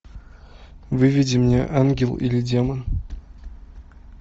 выведи мне ангел или демон